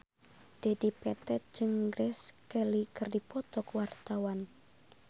Dedi Petet jeung Grace Kelly keur dipoto ku wartawan